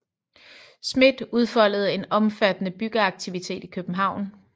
Smidth udfoldede en omfattende byggeaktivitet i København